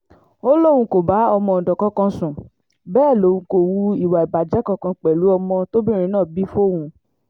ó lóun kò bá ọmọọ̀dọ́ kankan sùn bẹ́ẹ̀ lòun kò hu ìwà ìbàjẹ́ kankan pẹ̀lú ọmọ tóbìnrin náà bí fóun